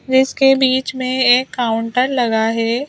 इसके बीच में एक काउंटर लगा है।